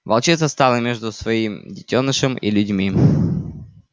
волчица стала между своим детёнышем и людьми